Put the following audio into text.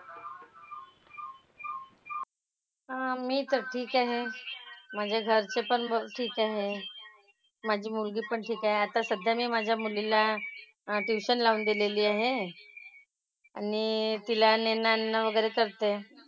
हां मी तर ठीक आहे. म्हणजे जास्ती पण बरं ठीक आहे. माझी मुलगी पण ठीक आहे. आता सध्या मी माझ्या मुलीला ट्युशन लावून दिलेली आहे. आणि तिला नेणं आणणं वगैरे करते.